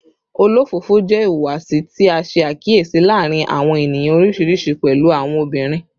Olofofo jẹ ihuwasi ti a ṣe akiyesi laarin awọn eniyan oriṣiriṣi, pẹlu awọn obinrin